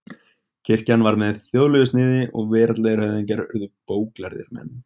Kirkjan varð með þjóðlegu sniði og veraldlegir höfðingjar urðu bóklærðir menn.